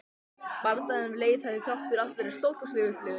Bardaginn við Leif hafði þrátt fyrir allt verið stórkostleg upplifun.